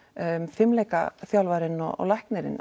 fimleikaþjálfarinn og læknirinn